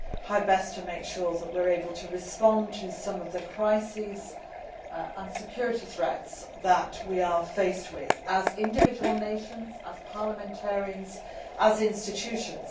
how best to make sure that we are able to respond to some of the crises and security threats that we are faced with as individual nations, as parliamentarians and as institutions.